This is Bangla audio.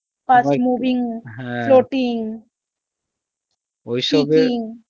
fast moving